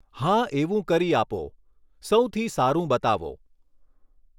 હા એવું કરી આપો સૌથી સારું બતાવો.